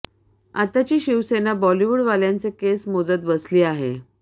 आताची शिवसेना बॉलिवूड वाल्यांचे केस मोजत बसली आहे